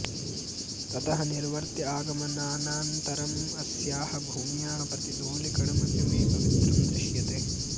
ततः निर्वर्त्य आगमनानन्तरम् अस्याः भूम्याः प्रतिधूलिकणमपि मे पवित्रं दृश्यते